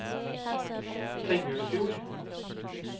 Tengelfjord